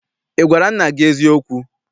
Ị gwara nna gị eziokwu?